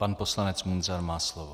Pan poslanec Munzar má slovo.